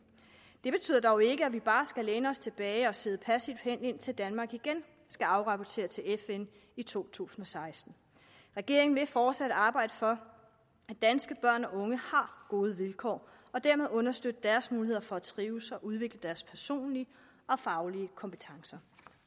det betyder dog ikke at vi bare skal læne os tilbage og sidde passivt hen indtil danmark igen skal afrapportere til fn i to tusind og seksten regeringen vil fortsat arbejde for at danske børn og unge har gode vilkår og dermed understøtte deres muligheder for at trives og udvikle deres personlige og faglige kompetencer